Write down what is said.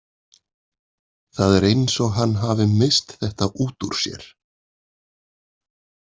Það er eins og hann hafi misst þetta út úr sér.